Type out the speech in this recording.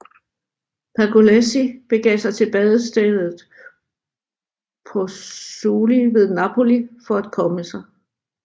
Pergolesi begav sig til badestedet Pozzuoli ved Napoli for at komme sig